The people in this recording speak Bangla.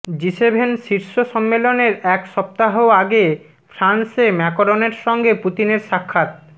জিসেভেন শীর্ষ সম্মেলনের এক সপ্তাহ আগে ফ্রান্সে ম্যাকরনের সঙ্গে পুতিনের সাক্ষাৎ